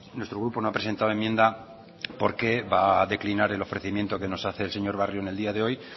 nuestro grupo no ha presentado enmienda porque va a declinar el ofrecimiento que nos hace el señor barrio en el día de hoy